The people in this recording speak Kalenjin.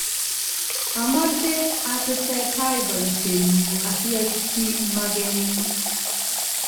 Amache atesetai poisyennyu asiaitchi magennyu